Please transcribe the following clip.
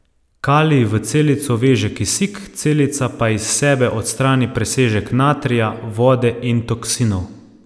Kalij v celico veže kisik, celica pa iz sebe odstrani presežek natrija, vode in toksinov.